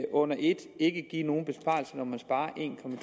under et ikke give nogen besparelse når man sparer